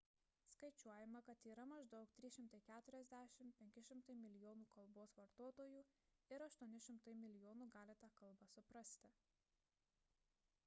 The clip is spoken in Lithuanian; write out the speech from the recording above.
skaičiuojama kad yra maždaug 340–500 milijonų kalbos vartotojų ir 800 milijonų gali tą kalbą suprasti